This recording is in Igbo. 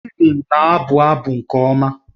Steven na-abụ abụ nke ọma